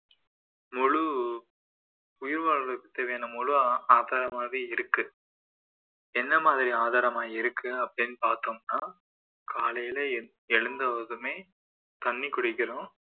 முழு உயிர் வாழ்வதற்கு தேவையான முழு ஆதாரமாகவே இருக்கு எந்த மாதிரி ஆதாரமா இருக்கு அப்படின்னு பார்த்தோம்னா காலைல எ~ எழுந்ததுமே தண்ணி குடிக்கிறோம்